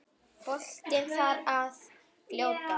Boltinn þar að fljóta.